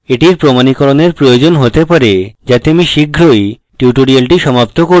এটির প্রমাণীকরণের প্রয়োজন হতে পারে যাতে আমি শীঘ্রই tutorial সমাপ্ত করব